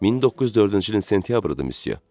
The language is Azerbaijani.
1904-cü ilin sentyabrıdır, Msye.